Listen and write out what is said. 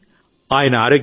మొదట్లో నాకు భయం వేసింది